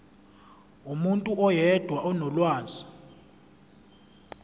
umuntu oyedwa onolwazi